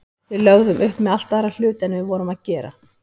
Við lögðum upp með allt aðra hluti en við vorum að gera.